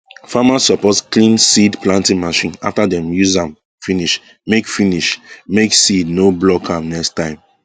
farmers suppose clean seed planting machine after dem use am finish make finish make seed no block am next time